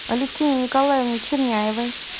алевтине николаевне черняевой